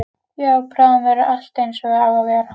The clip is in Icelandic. Já, bráðum verður allt einsog það á að vera.